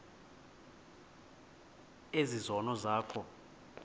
ezi zono zakho